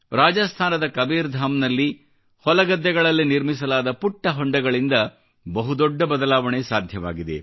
ರಾಜಸ್ಥಾನದ ಕಬೀರ್ಧಾಮ್ ನಲ್ಲಿ ಹೊಲಗದ್ದೆಗಳಲ್ಲಿ ನಿರ್ಮಿಸಲಾದ ಪುಟ್ಟ ಹೊಂಡಗಳಿಂದ ಬಹು ದೊಡ್ಡ ಬದಲಾವಣೆ ಸಾಧ್ಯವಾಗಿದೆ